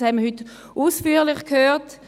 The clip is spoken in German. Das haben wir heute ausführlich gehört.